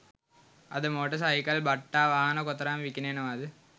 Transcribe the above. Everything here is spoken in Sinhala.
අද මෝටර් සයිකල් බට්ටා වාහන කොතරම් විකිණෙනවද